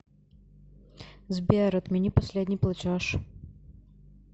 сбер отмени последний платеж